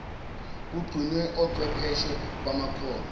kugcinwe ochwepheshe bamakhono